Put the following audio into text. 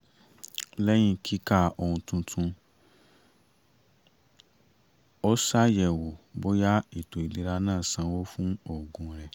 lẹ́yìn kíka ohun tuntun ó ṣàyẹ̀wò bóyá ètò ìlera náà sánwó fún òògùn rẹ̀